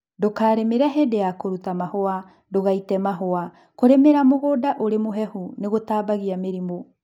Ndũkarĩmĩle hingo ya kũruta mahũa ndũgaite mahũa. Kũlĩmĩra mũgũnda ũri mũhehu nĩgũtambagia mĩrimũ